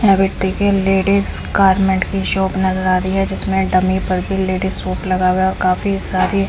यहाँ पे ladies garment की शॉप नज़र आ रही है जिसमें डमी पर भी लेडीज़ सूट लगा हुआ है काफी सारी--